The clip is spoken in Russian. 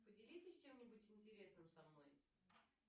поделитесь чем нибудь интересным со мной